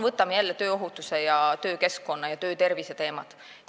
Võtame jälle tööohutuse, töökeskkonna ja töötervise teemad.